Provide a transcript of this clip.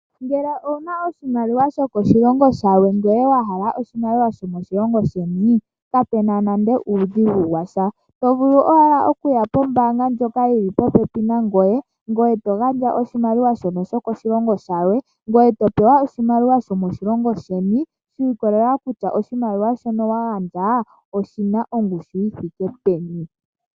Ngele owu na oshimaliwa shokoshilongo shilwe ngoye wa hala oshimaliwa shomoshilongo sheni, kapu na nande uudhigu wa sha. Oto vulu owala okuya pombaanga ndjoka yi li popepi nangoye e to gandja oshimaliwa shoka shokoshilongo shilwe ngoye to pewa oshimaliwa shomoshilongo sheni shi ikolelela kutya oshimaliwa shoka wa gandja oshi na ongushu yi thike peni.